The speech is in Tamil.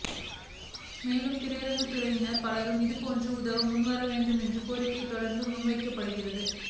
மேலும் திரைத்துறையினர் பலரும் இதுபோன்று உதவ முன்வர வேண்டும் என்ற கோரிக்கை தொடர்ந்து முன்வைக்கப்படுகிறது